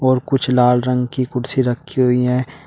और कुछ लाल रंग की कुर्सी रखी हुई हैं।